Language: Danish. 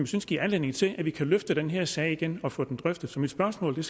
synes giver anledning til at vi kan løfte den her sag igen og få den drøftet så mit spørgsmål til